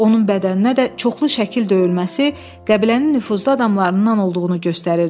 Onun bədəninə də çoxlu şəkil döyülməsi qəbilənin nüfuzlu adamlarından olduğunu göstərirdi.